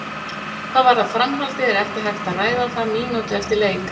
Hvað varðar framhaldið er ekki hægt að ræða það mínútu eftir leik.